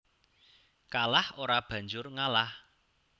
Kalah ora banjur ngalah